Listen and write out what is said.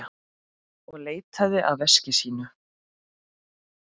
Og leitaði að veski sínu.